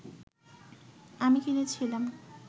আমি কিনেছিলাম